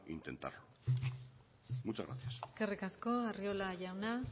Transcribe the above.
intentarlo muchas gracias eskerrik asko arriola jauna